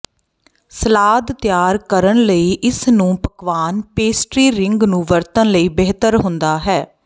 salad ਤਿਆਰ ਕਰਨ ਲਈ ਇਸ ਨੂੰ ਪਕਵਾਨ ਪੇਸਟਰੀ ਰਿੰਗ ਨੂੰ ਵਰਤਣ ਲਈ ਬਿਹਤਰ ਹੁੰਦਾ ਹੈ